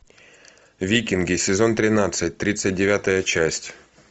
викинги сезон тринадцать тридцать девятая часть